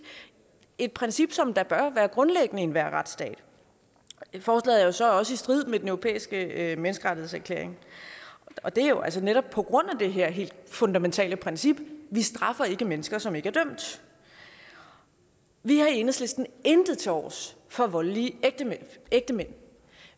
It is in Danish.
et princip som da bør være grundlæggende i enhver retsstat forslaget er så også i strid med den europæiske menneskerettighedserklæring og det er jo altså netop på grund af det her helt fundamentale princip vi straffer ikke mennesker som ikke er dømt vi har i enhedslisten intet tilovers for voldelige ægtemænd